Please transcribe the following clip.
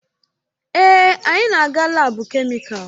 Èè, anyị na-aga laabu kemịkalụ.